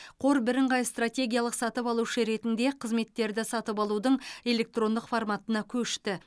қор бірыңғай стратегиялық сатып алушы ретінде қызметтерді сатып алудың электрондық форматына көшті